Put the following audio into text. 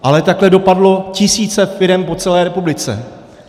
Ale takhle dopadlo tisíce firem po celé republice.